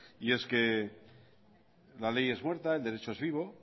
la ley es muerta el derecho es vivo